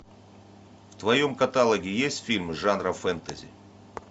в твоем каталоге есть фильм жанра фэнтези